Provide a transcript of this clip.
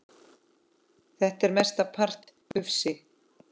Þetta er mestan part ufsi